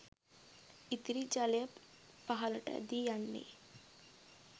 ඉතිරි ජලය පහළට ඇදී යන්නේ